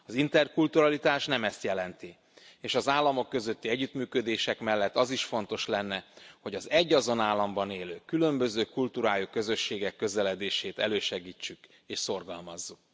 Az interkulturalitás nem ezt jelenti, és az államok közötti együttműködések mellett az is fontos lenne, hogy az egyazon államban élő, különböző kultúrájú közösségek közeledését elősegítsük és szorgalmazzuk.